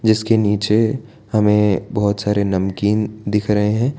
जिसके नीचे हमे बहोत सारे नमकीन दिख रहे है।